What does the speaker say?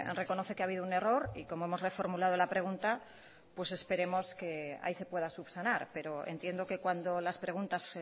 reconoce que ha habido un error y como hemos reformulado la pregunta pues esperemos que ahí se pueda subsanar pero entiendo que cuando las preguntas